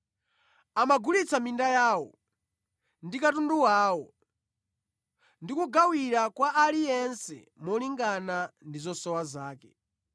Ankagulitsa minda yawo ndi katundu wawo, ndi kugawira kwa aliyense molingana ndi zosowa zake.